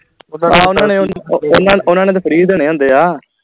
ਆਹ ਓਹਨਾ ਨੇ ਓਹਨਾ ਓਹਨਾ ਨੇ ਫਿਰ free ਦੇਣੇ ਹੁੰਦੇ ਆ